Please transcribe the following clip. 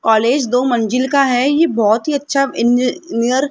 college दो मंजिल का है ये बहोत ही अच्छा इंजीनियर --